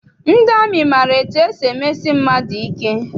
Ndị amị maara etu esi emesi mmadụ ike.